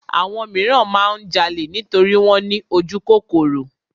Àwọn míràn máa ń jalè nítorí wọ́n ní ojúkòkòrò.